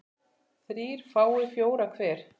þrír fái fjóra hver